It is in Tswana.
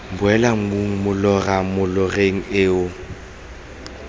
boela mmung molora moloreng eo